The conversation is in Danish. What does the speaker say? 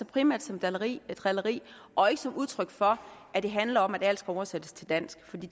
primært som drilleri drilleri og ikke som udtryk for at det handler om at alt skal oversættes til dansk for det